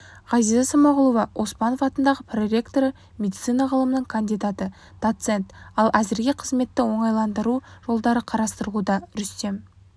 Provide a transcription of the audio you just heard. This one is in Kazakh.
ғазиза смағұлова оспанов атындағы проректоры медицина ғылымының кандидаты доцент ал әзірге қызметті оңтайландыру жолдары қарастырылуда рүстем